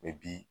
bi